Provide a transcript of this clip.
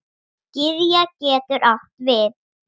Gyðja getur átt við